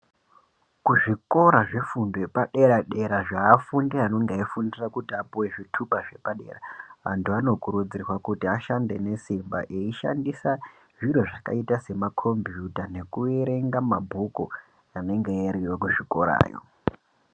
Kuzvikora zvefundo yepadera dera zveafundi anenge eifundira kuti apuwe zvitupa zvepadera antu anokurudzirwa kuti ashande nesimba eishandisa zviro zvakaita semakombiyuta nekuerenga mabhuku anenge ariyo kuzvikora yo.